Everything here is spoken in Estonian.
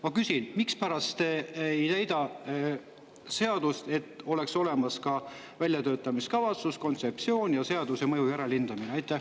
Ma küsin: mispärast te ei täida, nii et oleks olemas ka väljatöötamiskavatsus, kontseptsioon ja seaduse mõju järelhindamine?